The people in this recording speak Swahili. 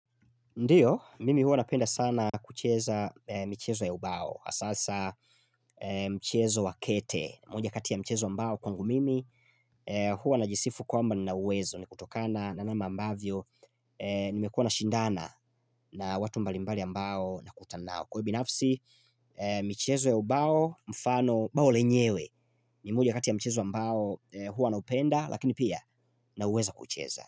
Ndio, mimi huwa napenda sana kucheza michezo ya ubao, sasa michezo wa kete, moja kati ya michezo ambao kwangu mimi, hua najisifu kwamba ninauwezo, ni kutokana na namna ambavyo, nimekuwa na shindana na watu mbalimbali ambao nakutana nao. Kwa binafsi, michezo ya ubao mfano, bao lenyewe, ni moja kati ya michezo ambao huwa naupenda, lakini pia nauweza kucheza.